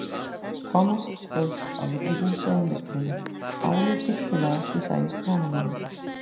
Thomas skaust á milli húsa í myrkrinu, álútur til að ekki sæist framan í hann.